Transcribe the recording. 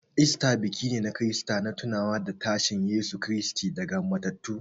Easter biki ne na Kirista na tunawa da tashin Yesu Kiristi daga matattu.